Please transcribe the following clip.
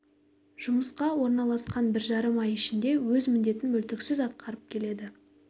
жұмысқа орналасқан бір жарым ай ішінде өз міндетін мүлтіксіз атқарып келеді